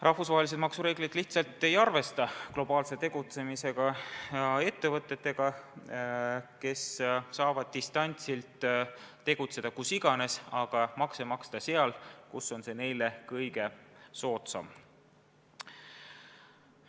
Rahvusvahelised maksureeglid lihtsalt ei arvesta globaalselt tegutsevate ettevõtetega, kes saavad distantsilt tegutseda kus iganes, aga makse maksta seal, kus on see neile kõige soodsam.